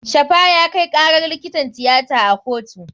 Shafa ya kai karar likitan tiyata a kotu.